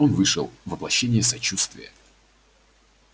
он вышел воплощение сочувствия